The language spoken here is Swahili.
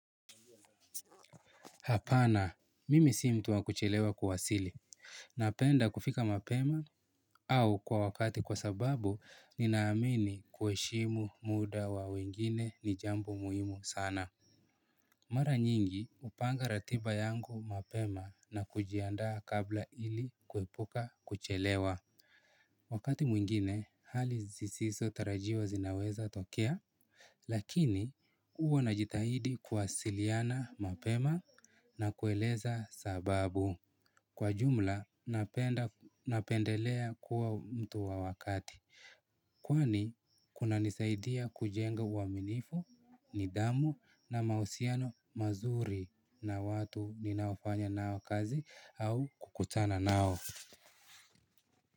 Hapana mimi si mtu wa kuchelewa kuwasili. Napenda kufika mapema au kwa wakati kwa sababu nina amini kuheshimu muda wa wengine ni jambo muhimu sana. Mara nyingi hupanga ratiba yangu mapema na kujiandaa kabla ili kuepuka kuchelewa. Wakati mwingine hali zisiso tarajiwa zinaweza tokea lakini huwa najitahidi kuwasiliana mapema na kueleza sababu. Kwa jumla napendelea kuwa mtu wa wakati. Kwani kunanisaidia kujenga uaminifu nidhamu na mahusiano mazuri na watu ninaofanya nao kazi au kukutana nao.